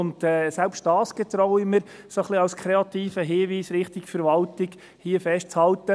Und selbst da erlaube ich mir, dies als kreativen Hinweis der Verwaltung gegenüber festzuhalten.